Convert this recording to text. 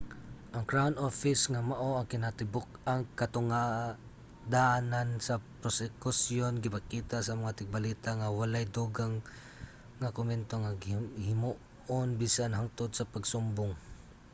ang crown office nga mao ang kinatibuk-ang katungdanan sa prosekusyon gipakita sa mga tigbalita nga wala’y dugang nga komento nga himuon bisan hangtod sa pagsumbong